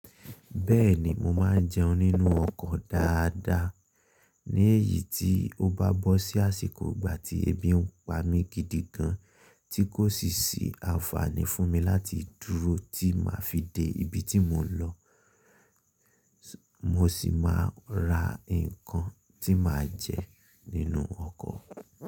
Bẹ́ẹ̀ni, mo máa ń jẹun nínú ọkọ̀ dáadáa. Ní èyí tí ó bá bọ́ sí àsìkò ìgbà tí ebi ń pa mi gidi gan, tí kò sì sí anfààní fún mi láti dúró tí màá fi dé ibi tí mò ń lọ, mo sì máa ra nǹkan tí màá jẹ nínú ọkọ̀.